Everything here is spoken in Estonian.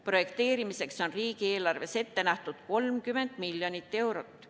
Projekteerimiseks on riigieelarves ette nähtud 30 miljonit eurot.